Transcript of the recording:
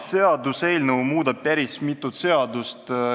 Seaduseelnõu muudab päris mitut seadust.